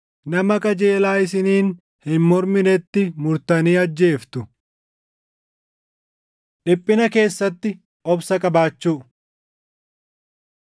Nama qajeelaa isiniin hin morminetti murtanii ajjeeftu. Dhiphina Keessatti Obsa Qabaachuu